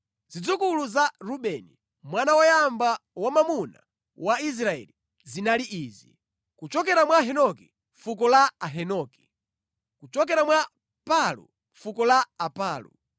Zidzukulu za Rubeni, mwana woyamba wamwamuna wa Israeli, zinali izi: kuchokera mwa Hanoki, fuko la Ahanoki; kuchokera mwa Palu, fuko la Apalu;